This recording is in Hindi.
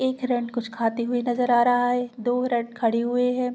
एक रैट कुछ खाते हुए नज़र आ रहा है दो रैट खड़ी हुई हैं।